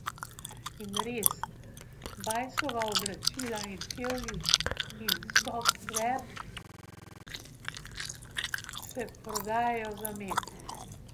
In res, Bajsova oblačila in čevlji in softver se prodajajo za med.